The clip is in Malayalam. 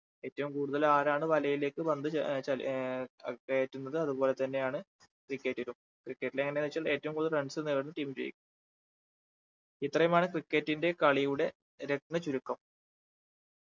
ഏറ്റവും കൂടുതൽ ആരാണ് വലയിലേക്ക് പന്ത് ച ഏർ ചാ ഏർ കയറ്റുന്നത് അതുപോലെ തന്നെയാണ് cricket ലും cricket ൽ എങ്ങനെ എന്നുവെച്ചു കഴിഞ്ഞാൽ ഏറ്റവും കൂടുതൽ runs നേടുന്ന team വിജയിക്കും ഇത്രയുമാണ് cricket ന്റെ കളിയുടെ രത്‌ന ചുരുക്കം